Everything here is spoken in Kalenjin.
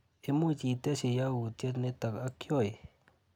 Imuch itesyi yautyet nito ak Joey?